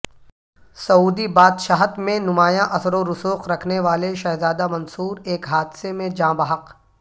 سعودی بادہشت میں نمایاں اثر ورسوخ رکھنے والے شہزادہ منصورایک حادثہ میں جاں بحق